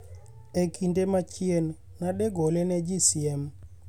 E kinde machien, nadegole ne ji siem